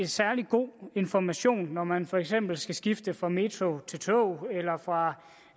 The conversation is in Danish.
særlig god information når man for eksempel skal skifte fra metroen til toget eller fra